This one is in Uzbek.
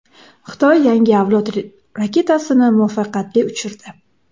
Xitoy yangi avlod raketasini muvaffaqiyatli uchirdi .